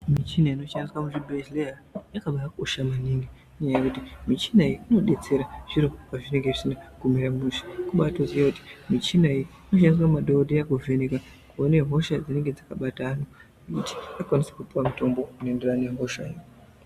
Michina inoshandiswa muzvibhedhleya yakabakosha maningi ngenyaya yekuti michina iyi inodetsera zviro pazvinenge zvisina kumira mushe kubatoziya kuti michina iyi inoshandiswa ngemadhokodheya kuvheneka kuone hosha dzinenge dzakabata antu kuti ukwanise kupuwe mutombo unoenderana nehoshayo.